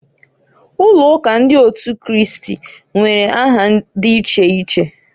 Ụlọụka ndị otu Kristi nwere aha di iche iche.